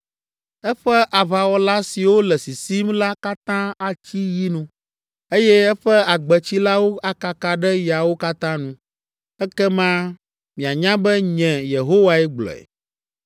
Eƒe aʋawɔla siwo le sisim la katã atsi yi nu, eye eƒe agbetsilawo akaka ɖe yawo katã nu, ekema mianya be nye Yehowae gblɔe.’